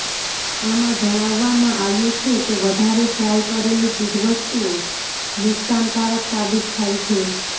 આમાં જણાવવામાં આવ્યું છે કે વધારે ફ્રાય કરેલી ચીજવસ્તુઓ નુકશાન કારક સાબિત થાય છે